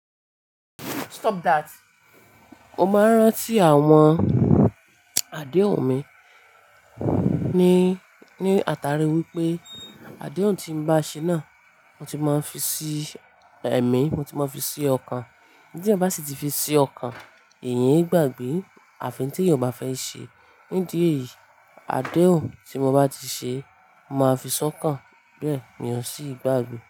Stop that. Mo máa ń rántí àwọn àdéhùn mi ní, ní àtàrí wípé àdéhùn tí mo bá ṣe náà mo ti máa ń fi sí ẹ̀mí, mo ti máa ń fi sí ọkàn. Tí ẹ̀yan bá sì ti fi sí ọkàn, eeyẹn e gbàgbé àfi in tí èèyàn o bá fẹ́ ṣe. Ní idi èyií, àdéhùn tí mo bá ti ṣe, mo máa fi sọ́kàn. Bẹ́ẹ̀ mi ọ̀ ń sì gbàgbé.